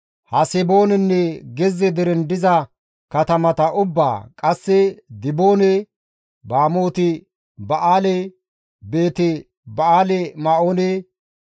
Haseboonenne gezze deren diza katamata ubbaa, qasse Diboone, Bamooti Ba7aale, Beeti-Ba7aali-Me7oone,